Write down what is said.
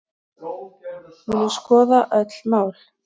Munu skoða öll mál